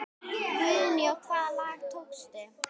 Guðný: Og hvaða lag tókstu?